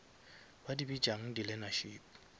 ba di bitšang di learnership